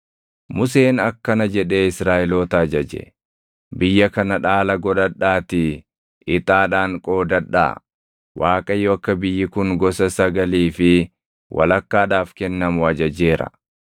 Museen akkana jedhee Israaʼeloota ajaje: “Biyya kana dhaala godhadhaatii ixaadhaan qoodadhaa; Waaqayyo akka biyyi kun gosa sagalii fi walakkaadhaaf kennamu ajajeera;